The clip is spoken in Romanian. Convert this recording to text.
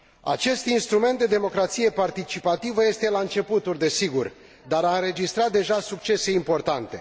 Acest instrument de democrație participativă este la începuturi, desigur, dar a înregistrat deja succese importante.